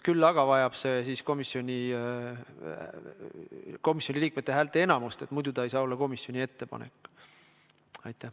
Küll aga vajab see komisjoni liikmete häälteenamust, sest muidu ei saa see olla komisjoni ettepanek.